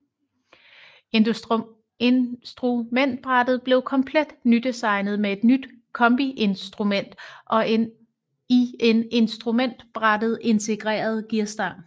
Instrumentbrættet blev komplet nydesignet med et nyt kombiinstrument og en i instrumentbrættet integreret gearstang